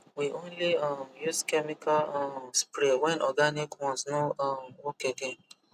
we only um use chemical um spray when organic ones no um work again